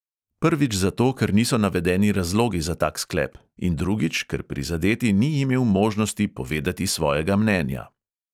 Prvič zato, ker niso navedeni razlogi za tak sklep; in drugič, ker prizadeti ni imel možnost povedati svojega mnenja.